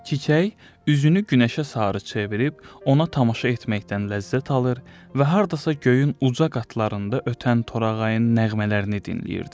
Çiçək üzünü günəşə sarı çevirib, ona tamaşa etməkdən ləzzət alır və hardasa göyün uca qatlarında ötən torağayın nəğmələrini dinləyirdi.